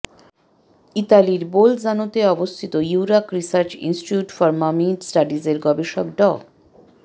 ইতালির বোলজানোতে অবস্থিত Eurac research institute for mummy স্টাডিজের গবেষক ড